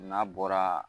N'a bɔra